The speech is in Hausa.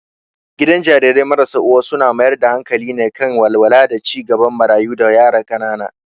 Gidan Jarirai marasa uwa suna mayar da hankali ne kan walwala da ci gaban marayu da yara ƙanana.